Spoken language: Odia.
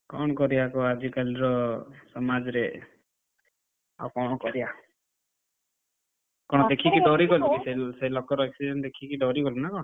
କଣ କରିଆ କହ ଆଜି କାଲିର ସମାଜରେ, ଆଉ କଣ କରିଆ? ସେ ଲୋକର accident ଦେଖିକି ଡରିଗଲୁନା କଣ?